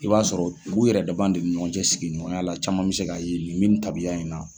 I b'a sɔrɔ olu yɛrɛ dama de ni ɲɔgɔncɛ sigiɲɔgɔnya la caman bɛ se k'a ye nin bɛ ni taabiya in na.